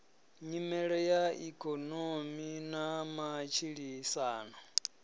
nyimele ya ikonomi na matshilisano